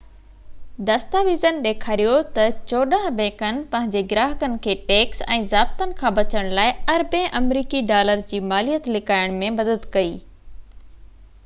دستاويزن ڏيکاريو تہ چوڏانهن بئنڪن پنهنجي گراهڪن کي ٽيڪس ۽ ضابطن کان بچڻ لاءِ اربين آمريڪي ڊالر جي ماليت لڪائڻ ۾ مدد ڪئي